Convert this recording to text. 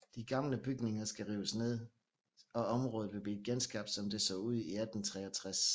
De gamle bygninger skal rives ned og området vil blive genskabt som det så ud i 1863